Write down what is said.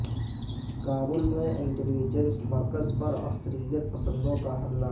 کابل میں intelligence مرکز پر عسکریت پسندوں کا حملہ